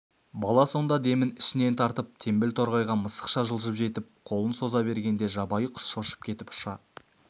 бала сонда демін ішінен алып теңбіл торғайға мысықша жылжып жетіп қолын соза бергенде жабайы құс шошып кетіп ұша